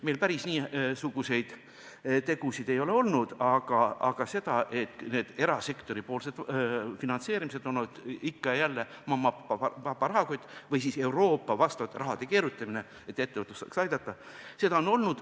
Meil päris niisuguseid tegusid ei ole tehtud, aga on olnud seda, et erasektoripoolsed finantseerimised on ikka ja jälle olnud mamma-papa rahakoti peal või siis on keerutatud Euroopa raha, et ettevõtlus saaks aidata.